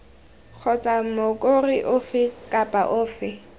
kgotsa mokoro ofe kapa ofe